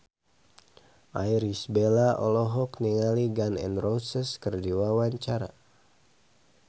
Irish Bella olohok ningali Gun N Roses keur diwawancara